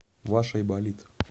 ваш айболит